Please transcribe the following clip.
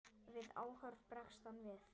Við áhorf bregst hann við.